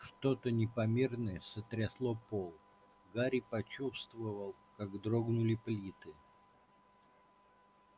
что-то непомерное сотрясло пол гарри почувствовал как дрогнули плиты